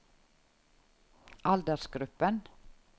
aldersgruppen